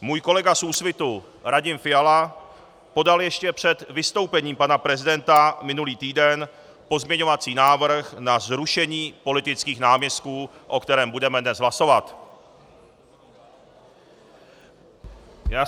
Můj kolega z Úsvitu Radim Fiala podal ještě před vystoupením pana prezidenta minulý týden pozměňovací návrh na zrušení politických náměstků, o kterém budeme dnes hlasovat.